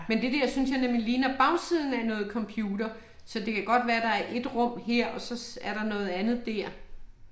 Men det der synes jeg nemlig ligner bagsiden af noget computer, så det kan godt være der er ét rum her og er der noget andet der